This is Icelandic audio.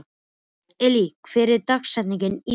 Elvý, hver er dagsetningin í dag?